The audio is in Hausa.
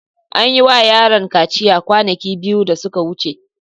An yi wa yaron kaciya kwanaki biyu da suka wuce.